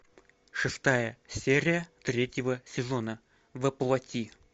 шестая серия третьего сезона во плоти